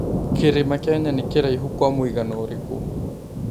kĩrĩma Kenya nĩ kĩraihu Kwa mũigana ũrikũ